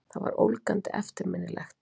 Það var ólgandi eftirminnilegt.